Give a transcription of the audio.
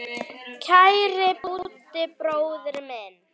Kæri Búddi bróðir minn.